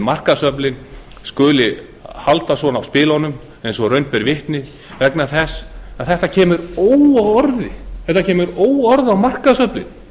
markaðsöflin skuli halda svona á spilunum eins og raun ber vitni vegna þess að þegar kemur óorði á markaðsöflin